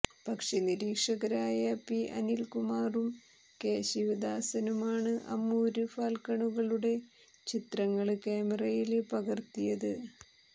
പക്ഷി നിരീക്ഷകരായ പി അനില്കുമാറും കെ ശിവദാസനുമാണ് അമൂര് ഫാല്ക്കണുകളുടെ ചിത്രങ്ങള് ക്യാമറയില് പകര്ത്തിയത്